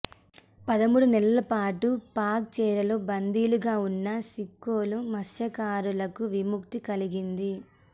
పదమూడు నెలల పాటు పాక్ చెరలో బందీలుగా ఉన్న సిక్కోలు మత్స్యకారులకు విముక్తి కలిగింది